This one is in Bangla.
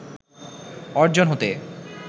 অর্জন হতে